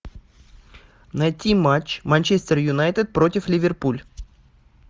найти матч манчестер юнайтед против ливерпуль